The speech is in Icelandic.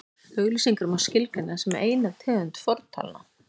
auglýsingar má skilgreina sem eina tegund fortalna